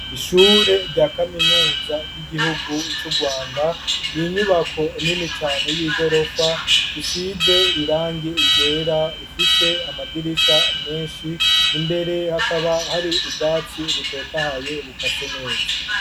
Ishure rya Kaminuza y'igihugu c'uRwanda n'inyubako nini cane y'igorofa isize irangi ryera , ifise amadirisha menshi imbere hakaba hari ubwatsi butotahaye bukase neza.